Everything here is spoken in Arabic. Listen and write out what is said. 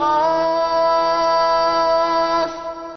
عسق